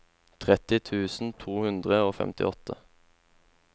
tretti tusen to hundre og femtiåtte